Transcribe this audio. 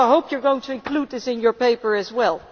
So I hope you are going to include this in your paper as well.